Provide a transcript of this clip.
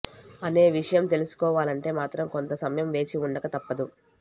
అనే విషయం తెలుసుకోవాలంటే మాత్రం కొంత సమయం వేచి ఉండక తప్పదు